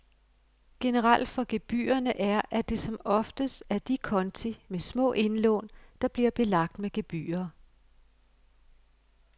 Generelt for gebyrerne er, at det som oftest er de konti med små indlån, der bliver belagt med gebyrer.